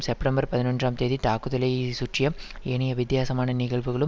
September பதினொன்றாம் தேதி தாக்குதலை சுற்றிய ஏனைய வித்தியாமான நிகழ்வுகளும்